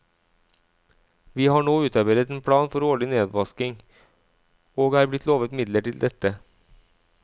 Vi har nå utarbeidet en plan for årlig nedvasking og er blitt lovet midler til dette.